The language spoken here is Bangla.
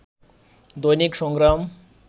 দৈনিক সংগ্রাম